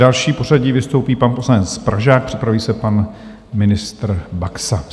Další v pořadí vystoupí pan poslanec Pražák, připraví se pan ministr Baxa.